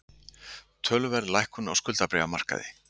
Töluverð lækkun á skuldabréfamarkaði